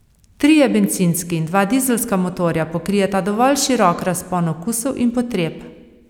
Trije bencinski in dva dizelska motorja pokrijeta dovolj širok razpon okusov in potreb.